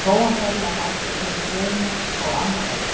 Svo hló hann ferlega hátt og tók í vörina þó að amma væri í heimsókn.